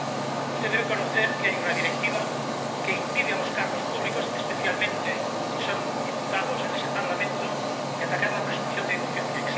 Y usted debe conocer que hay una directiva que impide a los cargos públicos, especialmente si son diputados en ese Parlamento, atacar la presunción de inocencia.